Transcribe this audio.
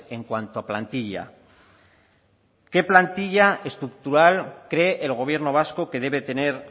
en cuanto a plantilla qué plantilla estructural cree el gobierno vasco que debe tener